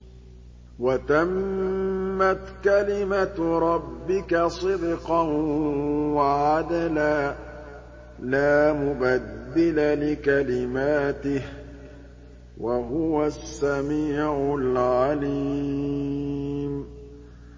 وَتَمَّتْ كَلِمَتُ رَبِّكَ صِدْقًا وَعَدْلًا ۚ لَّا مُبَدِّلَ لِكَلِمَاتِهِ ۚ وَهُوَ السَّمِيعُ الْعَلِيمُ